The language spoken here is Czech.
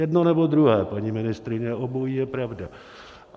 Jedno, nebo druhé, paní ministryně, obojí je pravda.